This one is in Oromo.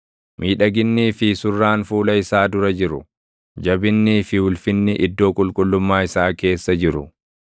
Miidhaginnii fi surraan fuula isaa dura jiru; jabinnii fi ulfinni iddoo qulqullummaa isaa keessa jiru.